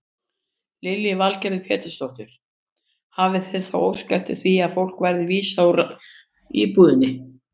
Lillý Valgerður Pétursdóttir: Hafið þið þá óskað eftir því að fólkinu verði vísað úr íbúðinni?